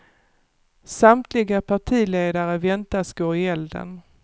Samtliga partiledare väntas gå i elden.